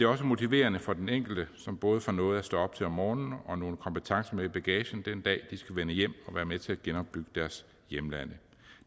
også motiverende for den enkelte som både får noget at stå op til om morgenen og nogle kompetencer med i bagagen den dag de skal vende hjem og være med til at genopbygge deres hjemlande